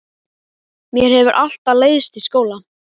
Mér hefur alltaf leiðst í skóla.